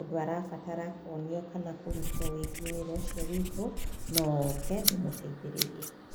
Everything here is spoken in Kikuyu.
ũndũ arabatara kuonio kana kũruta wĩgiĩ wĩra ũcio witũ, no oke ndĩmũteithĩrĩrie.